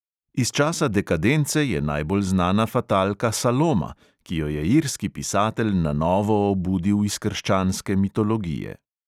Iz časa dekadence je najbolj znana fatalka saloma, ki jo je irski pisatelj na novo obudil iz krščanske mitologije.